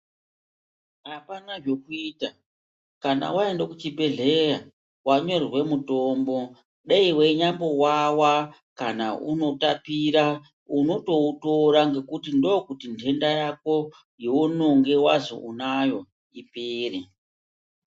Apana zvekuita kana waenda kuchibhedhleya wanyorerwe mutombo dai weinyambowawa kana unotapira unotoutora ngekuti ndokuti ntenda yako yeunonge wazwi unayo ipere.